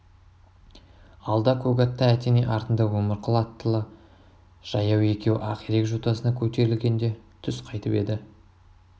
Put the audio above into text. алда көк атты әтеней артында өмірқұл аттылы жаяу екеуі ақирек жотасына көтерілгенде түс қайтып еді